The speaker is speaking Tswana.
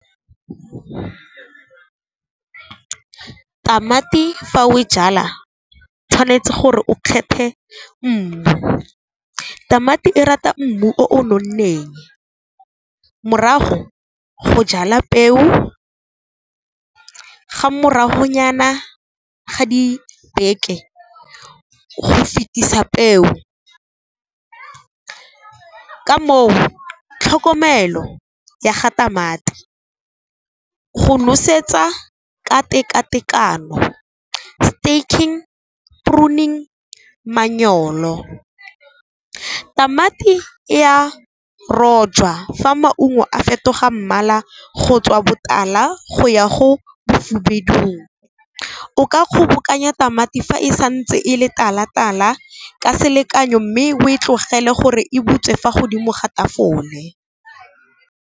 Tamati fa o e jala tshwanetse gore o kgethe mmu, tamati e rata mmu o o nonneng. Morago go jala peo, ga morago nyana ga dibeke go fetisa peo ka moo, tlhokomelo ya ga tamati go nosetsa ka tekatekano, , pruning manyolo. Tamati e ya rotjwa fa maungo a fetoga mmala go tswa botala, go ya go bofubedung, o ka kgobokanya tamati fa e santse e le tala-tala ka selekanyo mme o e tlogele gore e butswe fa godimo ga tafole.